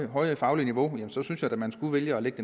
høje faglige niveau så synes at man skulle vælge at lægge